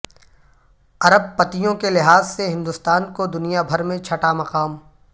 ارپ پتیوں کے لحاظ سے ہندوستان کو دنیا بھر میں چھٹا مقام